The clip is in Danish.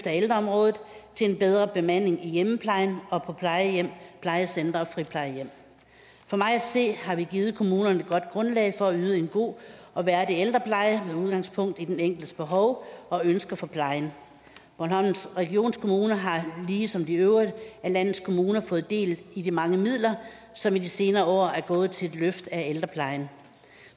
ældreområdet til en bedre bemanding i hjemmeplejen og på plejehjem plejecentre og friplejehjem for mig at se har vi givet kommunerne et godt grundlag for at yde en god og værdig ældrepleje med udgangspunkt i den enkeltes behov og ønsker for plejen bornholms regionskommune har ligesom de øvrige af landets kommuner fået del i de mange midler som i de senere år er gået til et løft af ældreplejen